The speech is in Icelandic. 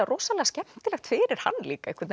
skemmtilegt fyrir hann líka